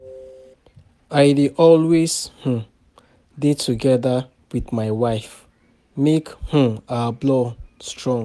I dey always um dey together wit my wife, make um our bond strong.